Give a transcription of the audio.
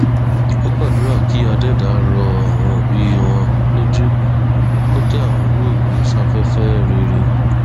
ó gbàdúrà kí adẹdá rọ àwọn òbí wọn lójú kó tẹ àwọn olóògbé sáfẹfẹ rere